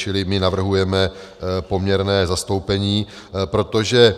Čili my navrhujeme poměrné zastoupení, protože